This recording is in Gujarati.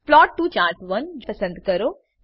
પ્લોટ ટીઓ ચાર્ટ1 પસંદ કરો